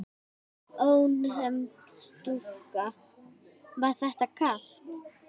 Ónefnd stúlka: Var þetta kalt?